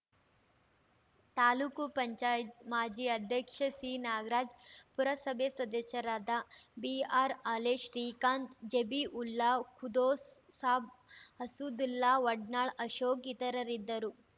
ತಾಲೂಕು ಪಂಚಾಯತ್ ಮಾಜಿ ಅಧ್ಯಕ್ಷ ಸಿನಾಗರಾಜ್‌ ಪುರಸಭೆ ಸದಸ್ಯರಾದ ಬಿಆರ್‌ಹಾಲೇಶ್ ಶ್ರೀಕಾಂತ್‌ ಜಬೀಉಲ್ಲಾ ಖುದ್ದೋಸ್‌ ಸಾಬ್‌ ಅಸಾದುಲ್ಲಾ ವಡ್ನಾಳ್‌ ಅಶೋಕ್‌ ಇತರರಿದ್ದರು